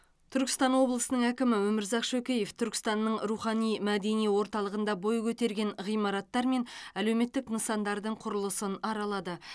түркістан облысының әкімі өмірзақ шөкеев түркістанның рухани мәдени орталығында бой көтерген ғимараттар мен әлеуметтік нысандардың құрылысын аралады